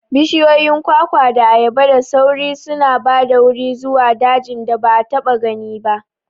Bishiyoyin kwakwa da ayaba da sauri suna ba da wuri zuwa dajin da ba a taɓa gani ba.